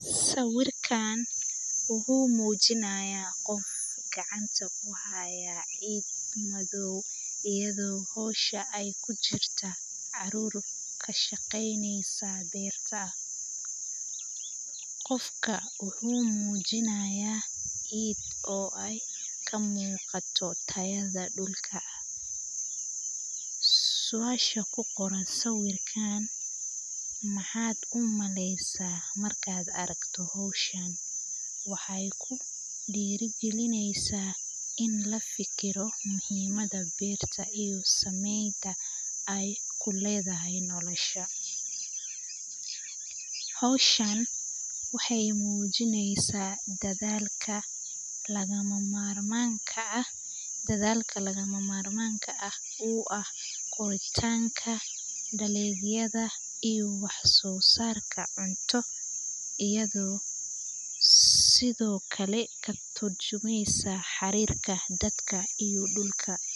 Siwirkan wuxu mujinaya qoof gacanta kuhaya cid madhow, ayado hosha ay kujirta carur kashaqeyneysa berta, qoofka wuxu mujinayah cid oo ay kamuqato tayada dulka, suasha kuqoran sibirkan maxad umaleysa marka aragto hoshan, waxay kudiri galineysa in lafikiro muhimada berta iyo sameynta aya kuledahay nolosha. Hoshan waxay mujineysa dadhalka lagama marmanka ah, uu ah qodhitanka, daliliyada iyo wax sosarka cunto iyado sidiokale katurjumeysa xarirka dadka iyo dulka.